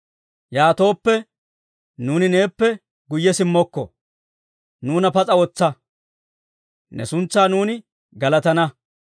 Yaatooppe, nuuni neeppe guyye simmokko. Nuuna pas'a wotsa; ne suntsaa nuuni galatana.